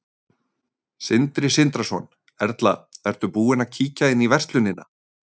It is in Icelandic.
Sindri Sindrason: Erla, ertu búin að kíkja inn í verslunina?